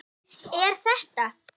Er þetta.?